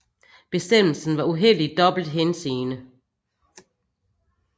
Bestemmelsen var uheldig i dobbelt henseende